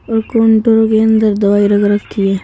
और काउंटर के अंदर दवाई रख रखी है।